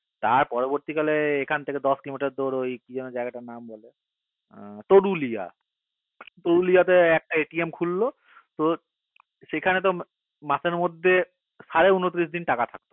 তার পরবর্তী কালে এখন থেকে দশ কিলোমিটার তোর ঐ কি যেনো জায়গাটার নাম তরুলিয়া তরুলিয়াতে একটা খুললো সেখানে তো মাসের মধ্যে সারে ঊনিশ দিন টাকা থাকতো না